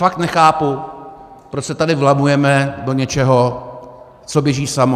Fakt nechápu, proč se tady vlamujeme do něčeho, co běží samo.